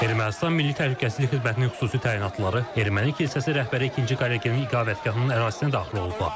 Ermənistan Milli Təhlükəsizlik Xidmətinin xüsusi təyinatlıları erməni kilsəsi rəhbəri ikinci Karekinin iqamətgahının ərazisinə daxil oldular.